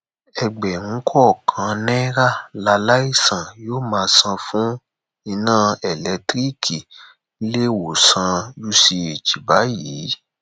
ẹgbẹrún kọọkan náírà làlàìsàn yóò máa san fún iná elétiríìkì níléewòsàn uch báyìí